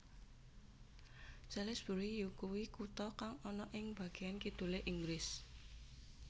Salisbury yakuwi kutha kang ana ing bageyan kidulé Inggris